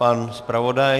Pan zpravodaj.